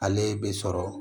Ale bɛ sɔrɔ